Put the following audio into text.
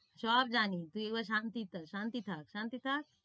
সব জানি তুই এবার শান্তি শান্তি থাক শান্তি থাক।